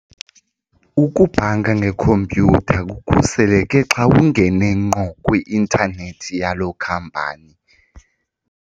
Ukubhanka ngekhompyutha kukhuseleke xa ungene ngqo kwi-intanethi yalo khampani.